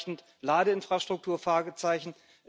Ausreichend Ladeinfrastruktur Fragezeichen.